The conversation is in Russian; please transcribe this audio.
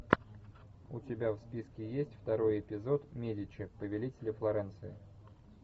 у тебя в списке есть второй эпизод медичи повелители флоренции